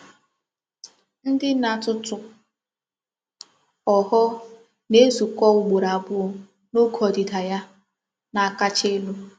Ndi n'atutu ogho na-ezuko ugboro abuo n'oge odida ya na-akacha elu.